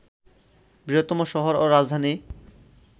বৃহত্তম শহর ও রাজধানী